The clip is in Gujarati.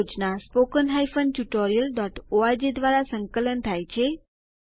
આ પ્રોજેક્ટ httpspoken tutorialorg દ્વારા સંકલન થાય છે